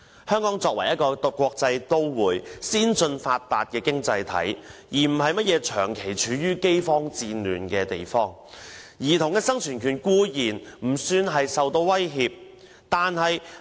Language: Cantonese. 香港作為一個國際都市、先進發達的經濟體，而非長期處於饑荒戰亂的地方，兒童的生存權固然不算受到威脅。